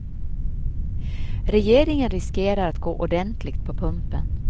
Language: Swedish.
Regeringen riskerar att gå ordentligt på pumpen.